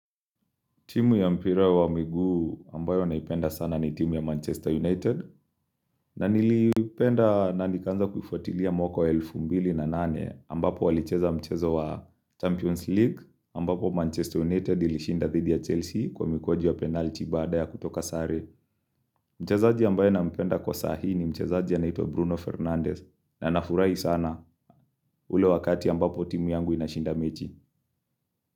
Timu ya mpira wa miguu ambayo naipenda sana ni timu ya Manchester United na nilipenda na nikaanza kuifuatilia mwaka wa elfu mbili na nane ambapo walicheza mchezo wa Champions League ambapo Manchester United ilishinda dhidi ya Chelsea Kwa mikwaju ya penalti baada ya kutoka sare Mchezaji ambaye nampenda kwa sahi ni mchezaji anaitwa Bruno Fernandez na nafurahi sana ule wakati ambapo timu yangu inashinda mechi.